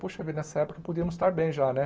Poxa vida, nessa época podíamos estar bem já, né?